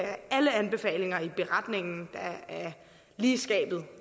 er alle anbefalinger i beretningen der er lige i skabet